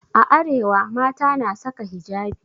A arewa mata na saka hijabi.